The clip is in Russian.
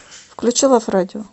включи лав радио